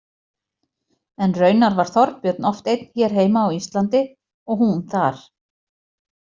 En raunar var Þorbjörn oft einn hér heima á Íslandi og hún þar.